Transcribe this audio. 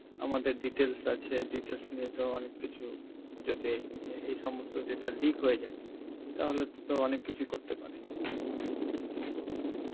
আমাদের details আছে, details তো অনেক কিছু যদি এ~ এই সমস্ত data leak হয়ে যায়, তাহলে তো অনেক কিছুই করতেই পারে.